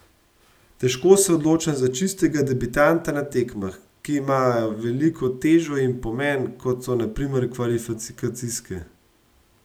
Težko se odločam za čistega debitanta na tekmah, ki imajo veliko težo in pomen, kot so na primer kvalifikacijske.